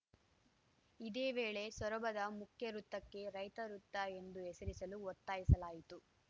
ಇದೇ ವೇಳೆ ಸೊರಬದ ಮುಖ್ಯ ವೃತ್ತಕ್ಕೆ ರೈತ ವೃತ್ತ ಎಂದು ಹೆಸರಿಸಲು ಒತ್ತಾಯಿಸಲಾಯಿತು